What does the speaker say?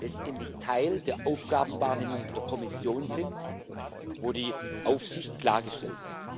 letztendlich Teil der Aufgabenwahrnehmung der Kommission sind, wo die Aufsicht klargestellt ist.